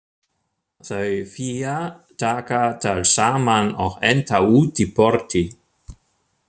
Þau Fía taka tal saman og enda útí porti.